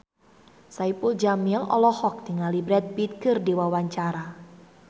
Saipul Jamil olohok ningali Brad Pitt keur diwawancara